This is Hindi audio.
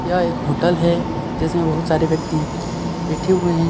यह एक होटल है जिसमें बहुत सारे व्यक्ति बैठे हुए हैं.